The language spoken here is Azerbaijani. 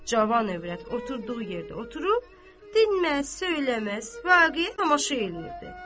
Cavan övrət oturduğu yerdə oturub dinməz, söyləməz, vaqeəyə tamaşa eləyirdi.